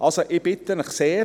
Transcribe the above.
Ich bitte Sie also sehr: